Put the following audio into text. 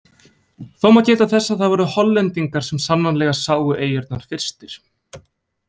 Þó má geta þess að það voru Hollendingar sem sannanlega sáu eyjurnar fyrstir.